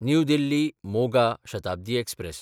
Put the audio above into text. new Delhi-Moga Shatabdi express